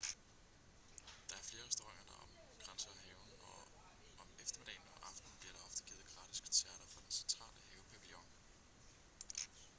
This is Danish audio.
der er flere restauranter der omkranser haven og om eftermiddagen og aftenen bliver der ofte givet gratis koncerter fra den centrale havepavillion